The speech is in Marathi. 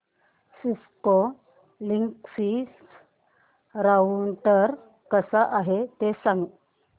सिस्को लिंकसिस राउटर कसा आहे ते सांग